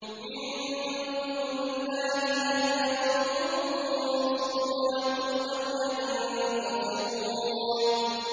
مِن دُونِ اللَّهِ هَلْ يَنصُرُونَكُمْ أَوْ يَنتَصِرُونَ